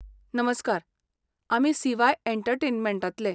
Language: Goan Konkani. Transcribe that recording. नमस्कार, आमी सी वाय एंटरटेनमेंटांतले.